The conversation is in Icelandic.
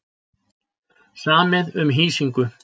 Samið um hýsingu